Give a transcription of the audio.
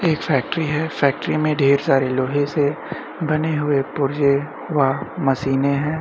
एक फैक्ट्री है फैक्ट्री में ढेर सारे लोहे से बने हुए पुर्जे व मशीने हैं।